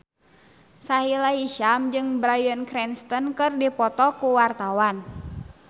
Sahila Hisyam jeung Bryan Cranston keur dipoto ku wartawan